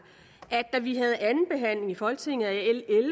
at da vi havde anden behandling i folketinget af